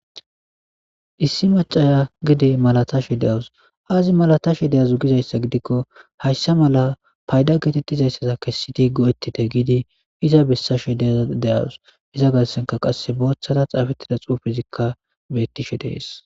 Issi macaya gede malatashe de'aus azi malatashe daze gizaysa gidiko haysa mala payda getetizaysa kesidi go'etite gidi iza besashe deawus iza garsenka qase bothara xafetida xufezikka betishe des